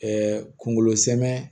kungolo sɛmɛn